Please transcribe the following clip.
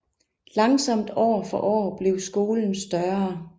Langsomt år for år blev skolen større